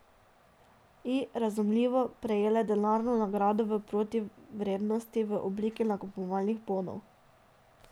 I, razumljivo, prejele denarno nagrado v protivrednosti v obliki nakupovalnih bonov.